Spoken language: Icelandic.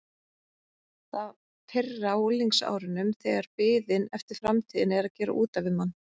Það fyrra á unglingsárunum þegar biðin eftir framtíðinni er að gera út af við mann.